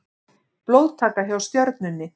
Blóðtaka hjá Stjörnunni